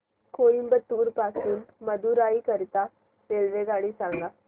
कोइंबतूर पासून मदुराई करीता रेल्वेगाडी सांगा